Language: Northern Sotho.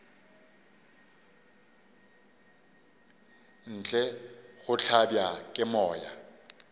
ntle go hlabja ke moya